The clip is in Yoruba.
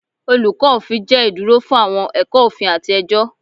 Olukọ Ofin jẹ iduro fun awọn ẹkọ ofin ati ẹjọ